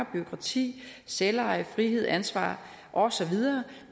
bureaukrati selveje frihed ansvar og så videre